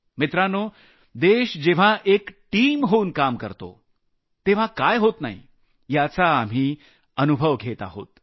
मित्रांनो देश जेव्हा एक टीम होऊन काम करतो तेव्हा काय काय होऊ शकत याचा आम्ही अनुभव घेत आहोत